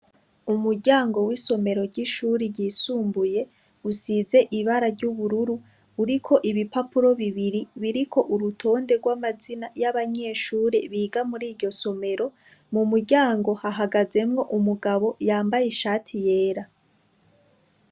Umuryango w'isomero ry'ishure ryisumbuye, usize ibara ry'ubururu, uriko ibipapuro bibiri biriko urutonde rw'amazi y'abanyeshure biga muri iryo somero, Mu muryango hahagazemwo umugabo yambaye ishati yera.